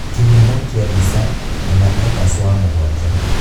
Kihũmo kia bica, Hannah Eachus wa mũgwanja.